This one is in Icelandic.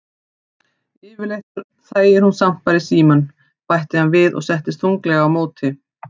Yfirleitt þegir hún samt bara í símann, bætti hann við og settist þunglega á móti